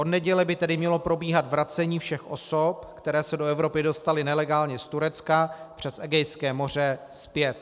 Od neděle by tedy mělo probíhat vracení všech osob, které se do Evropy dostaly nelegálně z Turecka přes Egejské moře, zpět.